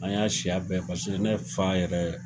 An y'a siya bɛɛ paseke ne fa yɛrɛ